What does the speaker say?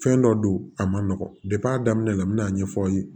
Fɛn dɔ don a ma nɔgɔn a daminɛ la n bɛna a ɲɛfɔ aw ye